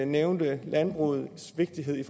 nævnte landbrugets vigtighed i